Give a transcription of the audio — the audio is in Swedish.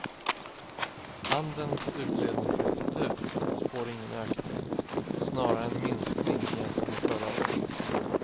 Handelns utredningsinstitut spår ingen ökning, snarare en minskning jämfört med förra året.